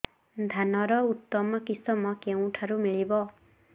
ଧାନର ଉତ୍ତମ କିଶମ କେଉଁଠାରୁ ମିଳିବ